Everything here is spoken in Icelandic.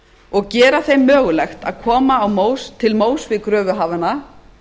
og gera þeim mögulegt að koma til móts við kröfuhafana